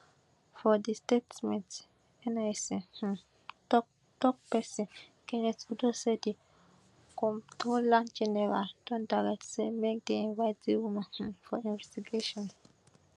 for di statement nis um toktok pesin kenneth udo say di comptroller general don direct say make dem invite di woman um for investigation